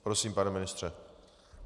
Prosím, pane ministře.